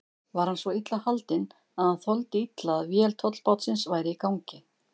Var hann svo illa haldinn, að hann þoldi illa að vél tollbátsins væri í gangi.